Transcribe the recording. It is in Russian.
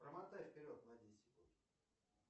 промотай вперед на десять секунд